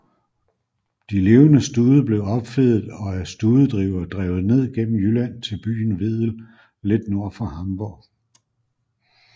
De levende stude blev opfedet og af studedrivere drevet ned gennem Jylland til byen Wedel lidt nord for Hamburg